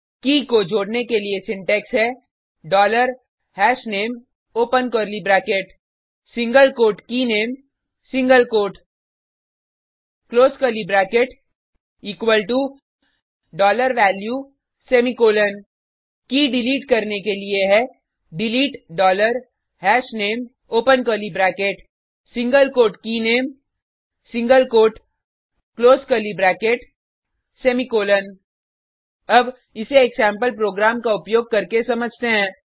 की को जोडने के लिए सिंटेक्स है dollar hashname open curly bracket single quote keyname single quote close curly bracket equal to value semicolon key delete करने के लिए है delete dollar hashname open curly bracket single quote keyname single quote close curly bracket semicolon अब इसे एक sample program का उपयोग करके समझते हैं